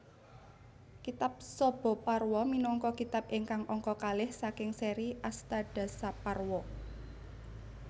Kitab Sabhaparwa minangka kitab ingkang angka kalih saking séri Astadasaparwa